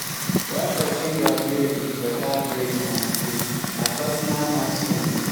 when person graduate with better grades from school na personal milestone